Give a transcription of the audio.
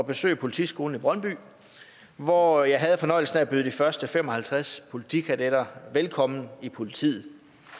at besøge politiskolen i brøndby hvor jeg havde fornøjelsen af at byde de første fem og halvtreds politikadetter velkommen i politiet